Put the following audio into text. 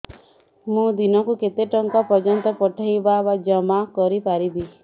ମୁ ଦିନକୁ କେତେ ଟଙ୍କା ପର୍ଯ୍ୟନ୍ତ ପଠେଇ ବା ଜମା କରି ପାରିବି